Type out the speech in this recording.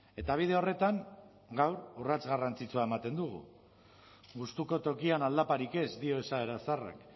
eta bide horretan gaur urrats garrantzitsua ematen dugu gustuko tokian aldaparik ez dio esaera zaharrak